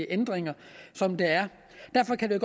ændringer som der er derfor kan det